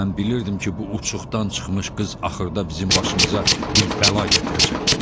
Mən bilirdim ki, bu uçuqdan çıxmış qız axırda bizim başımıza bir bəla gətirəcək.